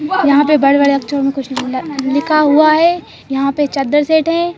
यहाँ पे बड़े-बड़े अक्षरों में कुछ न अ लिखा हुआ है यहाँ पे चद्दर सेट हैं।